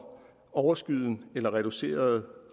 overskydende eller reduceret